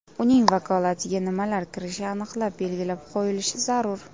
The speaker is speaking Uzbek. Uning vakolatiga nimalar kirishi aniq belgilab qo‘yilish zarur.